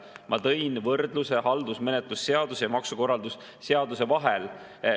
Ma tõin võrdluse haldusmenetluse seaduse ja maksukorralduse seaduse vahel.